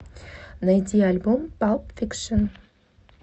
найди альбом палп фикшн